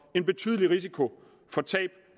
en betydelig risiko for tab